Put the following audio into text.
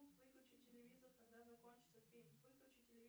выключи телевизор когда закончиться фильм выключи